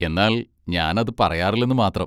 എന്നാൽ ഞാൻ അത് പറയാറില്ലെന്ന് മാത്രം.